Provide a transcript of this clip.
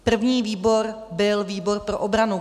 První výbor byl výbor pro obranu.